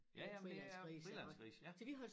Ja ja men det er frilandsgrise ja